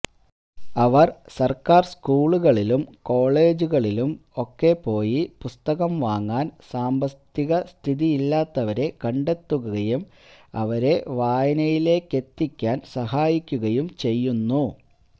അവര് സര്ക്കാര് സ്കൂളുകളിലും കോളേജുകളിലും ഒക്കെ പോയി പുസ്തകം വാങ്ങാന് സാമ്പത്തികസ്ഥിതിയില്ലാത്തവരെ കണ്ടെത്തുകയും അവരെ വായനയിലേക്കെത്തിക്കാന് സഹായിക്കുകയും ചെയ്യുന്നു